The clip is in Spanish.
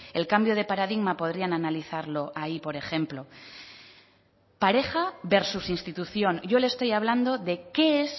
el cambio de paradigma podrían analizarlo ahí por ejemplo pareja versus institución yo le estoy hablando de qué es